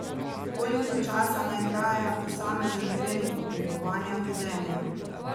Koliko časa naj traja posamezen trening oblikovanja vedenja?